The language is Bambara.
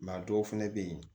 a dɔw fɛnɛ bɛ yen